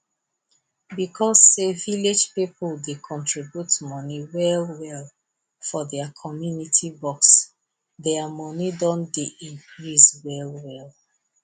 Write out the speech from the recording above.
because say village pipo dey contribute money well well for their community box their money don dey increase well well